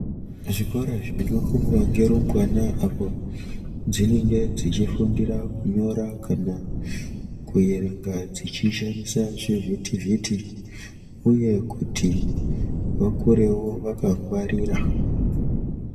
Zvikora zvinofundwa ngerumbwana apo dzinenge dzichifundira kunyora kana kuerenga dzichishandisa zvivhitivhiti, uye kuti vakurewo vakangwarira.